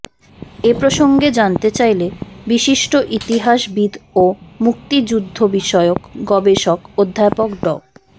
এ প্রসঙ্গে জানতে চাইলে বিশিষ্ট ইতিহাসবিদ ও মুক্তিযুদ্ধবিষয়ক গবেষক অধ্যাপক ড